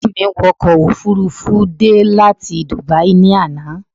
Ẹ̀gbọ́n mi wọ ọkọ̀ òfururufú dé láti Dubai ní àná